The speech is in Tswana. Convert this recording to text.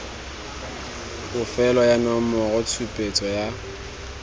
bofelo ya nomoro tshupetso ya